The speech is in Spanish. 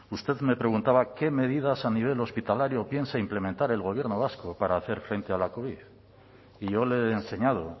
usted me preguntaba qué medidas a nivel hospitalario piensa implementar el gobierno vasco para hacer frente a la covid y yo le he enseñado